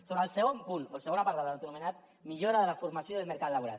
sobre el segon punt o el segon apartat autoanomenat millora de la formació del mercat laboral